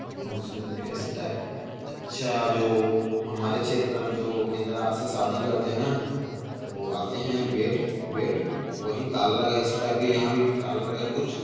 ये बहुत सुंदर दिखे-- ऐसे टाइप के अच्छा जो हमारे क्षेत्र में जो केंद्र राज्य से शादी करते है ना तो आते है बेड बेड तो वही ताला लगा है ऐसे टाइप के यहाँ भी ताला लगा है कुछ--